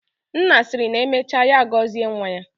Nna siri na emecha ya gozie nwa ya.